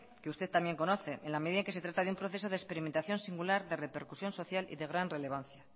que usted también conoce en la medida en que se trata de un proceso de experimentación singular de repercusión social y de gran relevancia